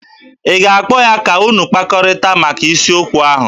Ị ga-akpọ ya ka unu kpakọrịta maka isiokwu ahụ?